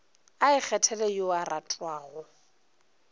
a ikgethele yo a ratwago